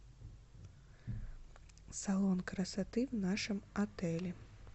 салон красоты в нашем отеле